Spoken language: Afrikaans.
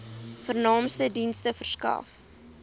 vernaamste dienste verskaf